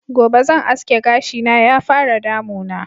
Gobe zan aske gashi na ya fara damuna